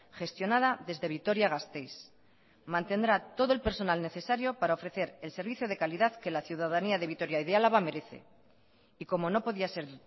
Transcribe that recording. gestionada desde vitoria gasteiz mantendrá todo el personal necesario para ofrecer el servicio de calidad que la ciudadanía de vitoria y de álava merece y como no podía ser